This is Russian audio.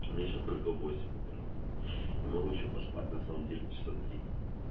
месяц только восемь утра не могу ещё поспать на самом деле